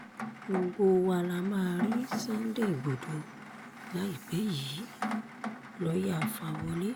gbogbo wa la máa rí sunday igbodò láìpẹ́ yìí- lọ́ọ̀yá fawọ́lẹ̀